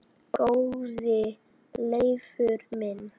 Góði Leifur minn